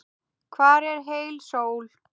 Hvar er heil sól?